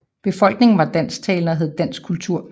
Befolkningen var dansktalende og havde dansk kultur